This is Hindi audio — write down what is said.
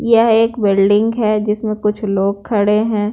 यह एक बिल्डिंग है जिसमें कुछ लोग खड़े हैं।